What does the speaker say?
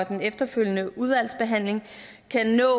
den efterfølgende udvalgsbehandling kan nå